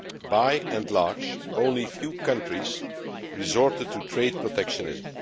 By and large, only a few countries resorted to trade protectionism.